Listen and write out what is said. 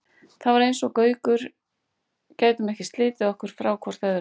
Það var eins og við Gaukur gætum ekki slitið okkur frá hvort öðru.